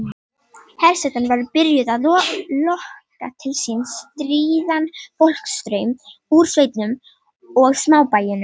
Hersetan var byrjuð að lokka til sín stríðan fólksstraum úr sveitunum og smábæjunum.